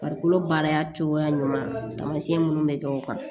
Farikolo baara cogoya ɲuman taamasiyɛn minnu bɛ kɛ o kan